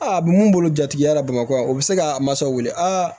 Aa a bɛ mun bolo jatigiya la bamakɔ yan o bɛ se k'a mansaw wele a